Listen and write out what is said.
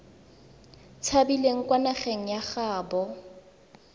tshabileng kwa nageng ya gaabo